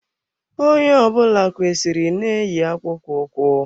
Onye ọ bụla kwesịrị ị na eyi akpụkpọ ụkwụ.